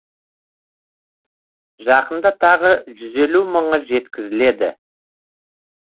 жақында тағы жүз елу мыңы жеткізіледі